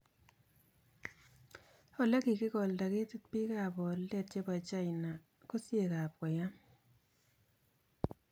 olekikikolda ketit bik ab boldet chebo China Kosiek ak koyam.